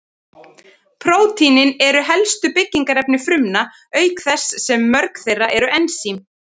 Prótínin eru helstu byggingarefni frumna, auk þess sem mörg þeirra eru ensím.